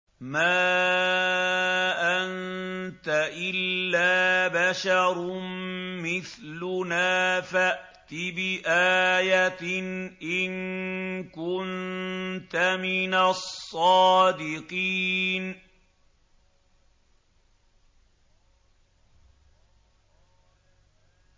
مَا أَنتَ إِلَّا بَشَرٌ مِّثْلُنَا فَأْتِ بِآيَةٍ إِن كُنتَ مِنَ الصَّادِقِينَ